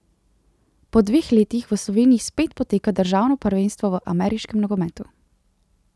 Po dveh letih v Sloveniji spet poteka državno prvenstvo v ameriškem nogometu.